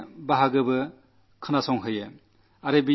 ചില ഭാഗങ്ങൾ എന്നെ ചൊല്ലി കേൾപ്പിക്കയും ചെയ്തു